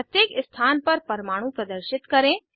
प्रत्येक स्थान पर परमाणु प्रदर्शित करें